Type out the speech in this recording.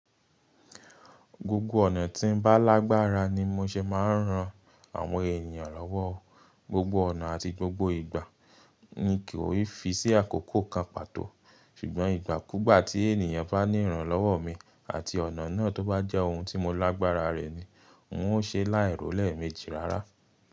Gbogbo ọ̀nà tí ń bá lágbára ni mo ṣe máa ń ran àwọn ènìyàn lọ́wọ́. Gbogbo ọ̀nà àti gbogbo ìgbà mi kì í fi sí àkókò kan pàtó. Ṣùgbọ́n ìgbàkúgbà tí ènìyàn bá níran lọ́wọ́ mi àti ọ̀nà náà tó bá jẹ́ ohun tí mo lágbára rẹ̀ ni ń ó ṣe láìrò lẹ́eméjì rárá.